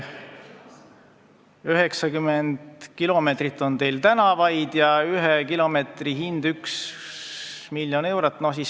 90 kilomeetrit on teil tänavaid ja ühe kilomeetri hind on 1 miljon eurot.